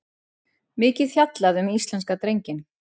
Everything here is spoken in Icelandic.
Mikið fjallað um íslenska drenginn